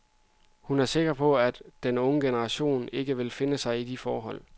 Hun er sikker på, at den unge generation ikke vil finde sig i de forhold.